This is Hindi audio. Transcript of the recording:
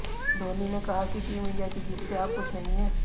धोनी ने कहा कि टीम इंडिया की जीत से आप खुश नहीं हैं